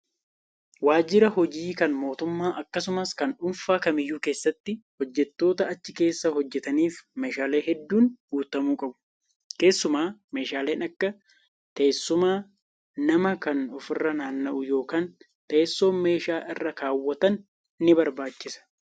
Waajjira hojii kan mootummaa akkasumas kan dhuunfaa kamiyyuu keessatti hojjattoota achi keessa hojjataniif meeshaaleen hedduun guutamuu qabu. Keessumaa meeshaaleen akka teessuma namaa kan ofirra naanna'u yookaan teessoon meeshaa irra kaawwatan ni barbaachisa.